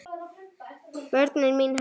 Börnin mín herra.